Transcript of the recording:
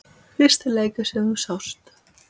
Fyrsti leikur sem þú sást?